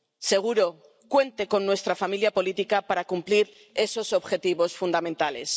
Seguro, cuente con nuestra familia política para cumplir esos objetivos fundamentales.